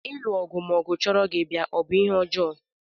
Ilu ọgụ ma ọgụ chọrọ gị bịa ọ bụ ihe ọjọọ?